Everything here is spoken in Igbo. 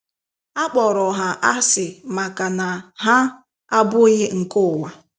A Kpọrọ ha asị maka na ha “ Abụghị nke Ụwa ”